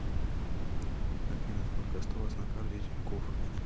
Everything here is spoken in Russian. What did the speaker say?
афина сколько осталось на карте тинькофф